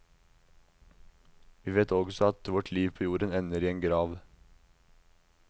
Vi vet at også vårt liv på jorden ender i en grav.